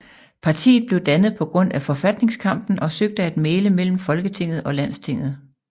Partiet blev dannet på grund af forfatningskampen og søgte at mægle mellem Folketinget og Landstinget